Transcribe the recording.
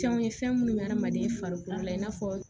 Fɛnw ye fɛn minnu bɛ hadamaden farikolo la i n'a fɔ